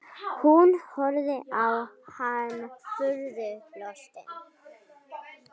Hún horfði á hann furðu lostin.